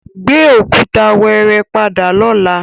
Gbé òkúta wẹ́ẹ́rẹ́ padà lọ́la!